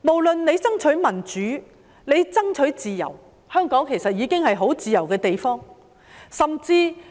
他們要爭取民主、自由，但香港其實已經是一個很自由的地方。